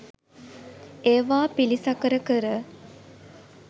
ඒවා පිළිසකර කර